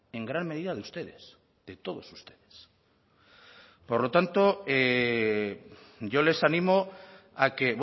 en gran medida de ustedes de todos ustedes por lo tanto yo les animo a que